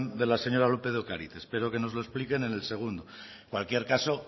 de la señora lópez de ocariz espero que nos lo expliquen en el segundo en cualquier caso